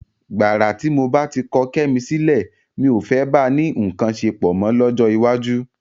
Gbàrà tí mo bá ti kọ Kẹ́mi sílẹ̀, mi ò fẹ́ bá a ní nǹkan ṣepọ̀ mọ́ lọ́jọ́ iwájú.